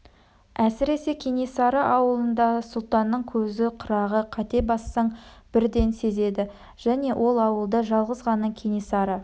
әсіресе кенесары аулында сұлтанның көзі қырағы қате бассаң бірден сезеді және ол ауылда жалғыз ғана кенесары